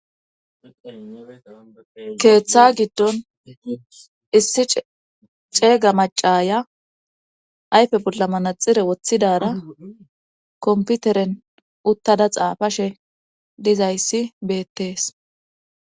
keeththa giddon issi ceega macaya ayfe bolla manaxire woththidara komputeren uttada xaafashe dizayssi beettees